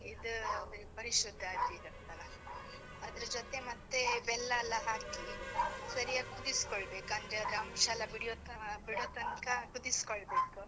ಇದೂ ಪರಿಶುದ್ದ ಆಗಿರತ್ತಲ್ಲ, ಅದ್ರ ಜೊತೆ ಮತ್ತೇ ಬೆಲ್ಲ ಎಲ್ಲ ಹಾಕಿ, ಸರಿಯಾಗ್ ಕುದಿಸ್ಕೊಳ್ಬೇಕ್‌ ಅಂದ್ರೇ, ಅದ್ರ ಅಂಶ ಎಲ್ಲ ಬೇಡ್ಯೋ ಆ ಬಿಡೊತಂಕ ಕುದಿಸ್ಕೊಳ್ಬೇಕ್‌.